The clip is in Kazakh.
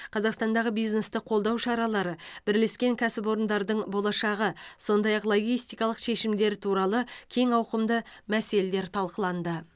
қазақстандағы бизнесті қолдау шаралары бірлескен кәсіпорындардың болашағы сондай ақ логистикалық шешімдер туралы кең ауқымды мәселелер талқыланды